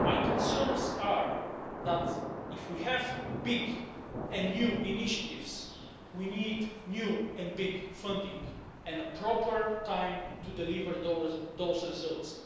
My concerns are that if we have big and new initiatives, we need new and big funding, and the proper time to deliver those results.